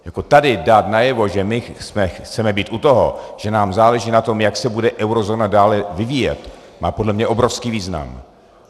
Tady dát najevo, že my chceme být u toho, že nám záleží na tom, jak se bude eurozóna dále vyvíjet, má podle mě obrovský význam.